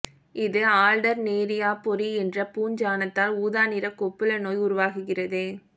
இது ஆல்டர்னேரியாபொரி என்ற பூஞ்சாணத்தால் ஊதாநிற கொப்புள நோய் உருவாகிறது